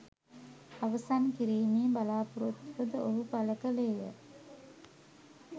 අවසන් කිරීමේ බලාපොරොත්තුව ද ඔහු පළ කළේය.